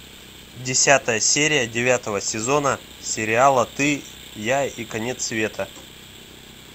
десятая серия девятого сезона сериала ты я и конец света